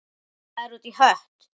Það er út í hött.